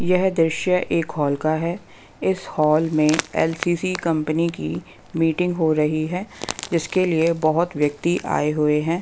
यह दृश्य एक हॉल का है इस हॉल में एल_सी_सी कंपनी की मीटिंग हो रही है जिसके लिए बहोत व्यक्ति आए हुए हैं।